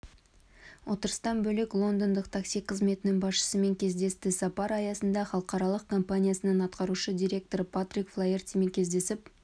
отырыстан бөлек лондондық такси қызметінің басшысымен кездесті сапар аясында іалықаралық компаниясының атқарушы директоры патрик флаертимен кездесіп